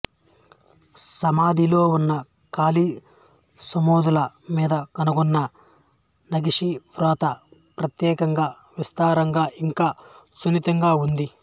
సమాధిలో ఉన్న ఖాళీ సమాధుల మీద కనుగొన్న నగీషీవ్రాత ప్రత్యేకంగా సవిస్తారంగా ఇంకా సున్నితంగా ఉంది